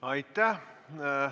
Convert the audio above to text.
Aitäh!